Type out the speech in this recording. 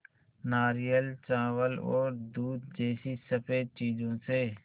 नारियल चावल और दूध जैसी स़फेद चीज़ों से